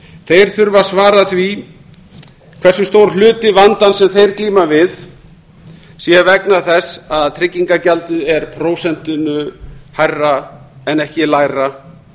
þeir þurfa að hvar því hversu stór hluti vandans sem þeir glíma við sé vegna þess að tryggingagjaldið er prósentinu hærra en ekki lægra